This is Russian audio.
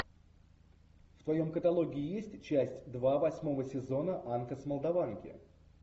в твоем каталоге есть часть два восьмого сезона анка с молдаванки